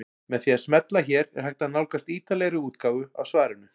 Með því að smella hér er hægt að nálgast ítarlegri útgáfu af svarinu.